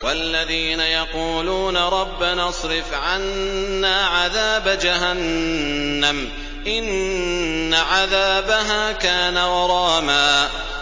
وَالَّذِينَ يَقُولُونَ رَبَّنَا اصْرِفْ عَنَّا عَذَابَ جَهَنَّمَ ۖ إِنَّ عَذَابَهَا كَانَ غَرَامًا